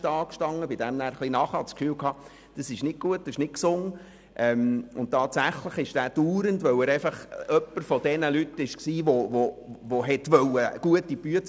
Wir sprachen ihn einerseits darauf an und schickten ihn dann in einen Kurs.